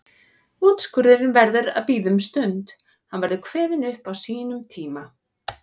Úrskurðurinn verður að bíða um stund, hann verður kveðinn upp á sínum tíma.